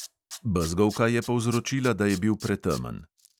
Bezgovka je povrzočila, da je bil pretemen.